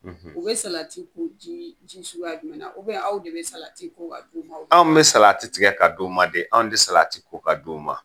u be salati ko jii ji suguya jumɛn na aw de be salati ko k'a d'u ma a? Anw bɛ salati tigɛ k'a d'u ma de, anw te salati ko k'a d'u ma.